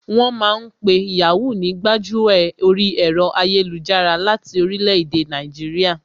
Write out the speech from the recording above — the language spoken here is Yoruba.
Wọ́n ma ń pe Yàhoo ní gbájú ẹ̀ orí ẹ̀rọ ayélujára láti orílẹ̀ èdè Nàìjíríà